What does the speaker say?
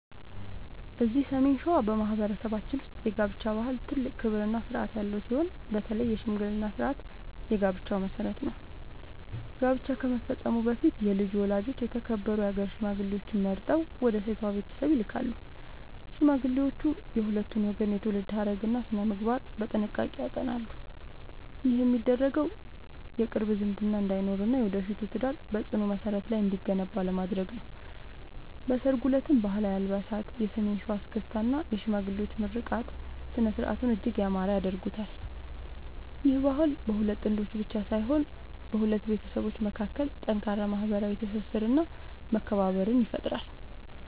እዚህ ሰሜን ሸዋ በማኅበረሰባችን ውስጥ የጋብቻ ባህል ትልቅ ክብርና ሥርዓት ያለው ሲሆን፣ በተለይ የሽምግልና ሥርዓት የጋብቻው መሠረት ነው። ጋብቻ ከመፈጸሙ በፊት የልጁ ወላጆች የተከበሩ የአገር ሽማግሌዎችን መርጠው ወደ ሴቷ ቤተሰብ ይልካሉ። ሽማግሌዎቹ የሁለቱን ወገን የትውልድ ሐረግና ሥነ-ምግባር በጥንቃቄ ያጠናሉ። ይህ የሚደረገው የቅርብ ዝምድና እንዳይኖርና የወደፊቱ ትዳር በጽኑ መሠረት ላይ እንዲገነባ ለማድረግ ነው። በሠርጉ ዕለትም ባህላዊ አልባሳት፣ የሰሜን ሸዋ እስክስታ እና የሽማግሌዎች ምርቃት ሥነ-ሥርዓቱን እጅግ ያማረ ያደርጉታል። ይህ ባህል በሁለት ጥንዶች ብቻ ሳይሆን በሁለት ቤተሰቦች መካከል ጠንካራ ማኅበራዊ ትስስርና መከባበርን ይፈጥራል።